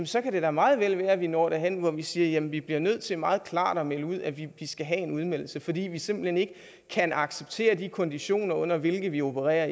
så kan det da meget vel være at vi når derhen hvor vi siger at vi bliver nødt til meget klart at melde ud at vi skal have en udmeldelse fordi vi simpelt hen ikke kan acceptere de konditioner under hvilke vi opererer